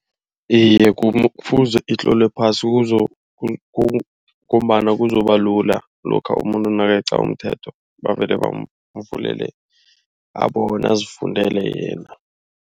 Iye kufuze itlolwe phasi ngombana kuzobalula lokha umuntu nakeqa umthetho. Bavele bamvulele abona azifundele yena.